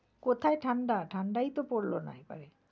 কোথায় ঠাণ্ডা ঠাণ্ডাই তো পড়লো না এবারে।